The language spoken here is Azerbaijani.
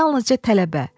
yalnızca tələbə.